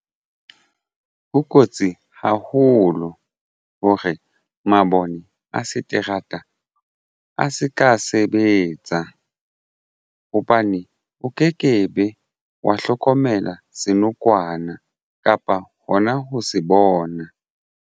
Ho kotsi haholo hore mabone a seterata a se ka sebetsa hobane o ke kebe wa hlokomela senokwane kapa hona ho se bona.